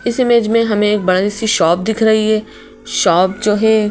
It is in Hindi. इस इमेज में हमें एक बड़ी सी शॉप दिख रही है शॉप जो है--